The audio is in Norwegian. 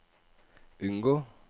unngå